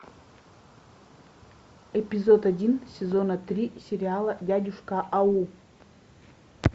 эпизод один сезона три сериала дядюшка ау